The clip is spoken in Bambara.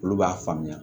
Olu b'a faamuya